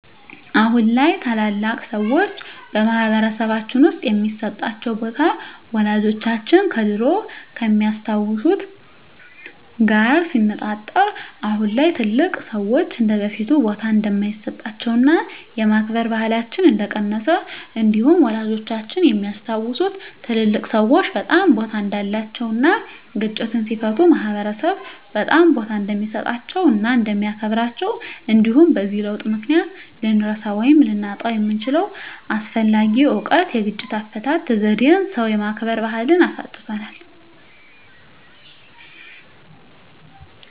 አሁን ላይ ታላላቅ ሰዎች በማህበረሰልባችን ውስጥ የሚሰጣቸው ቦታ ወላጆቻችን ከድሮው ከሚያስታውት ጋር ሲነፃፀር አሁን ላይ ትልልቅ ሰዎች እንደበፊቱ ቦታ እንደማይሰጣቸውና የማክበር ባህላችን እንደቀነሰ እንዲሁም ወላጆቻችን የሚያስታውሱት ትልልቅ ሰዎች በጣም ቦታ እንዳላቸው እና ግጭትን ሲፈቱ ማህበረሰብ በጣም ቦታ እንደሚሰጣቸው እና እንደሚያከብራቸው እንዲሁም በዚህ ለውጥ ምክንያት ልንረሳው ወይም ልናጣው የምንችለው አስፈላጊ እውቀት የግጭት አፈታት ዜዴን ሰው የማክበር ባህልን አሳጥቶናል።